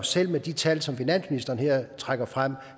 selv med de tal som finansministeren her trækker frem